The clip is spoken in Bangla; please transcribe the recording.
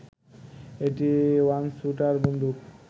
একটি ওয়ানস্যুটার বন্দুক